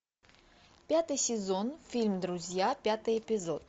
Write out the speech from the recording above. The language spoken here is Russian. пятый сезон фильм друзья пятый эпизод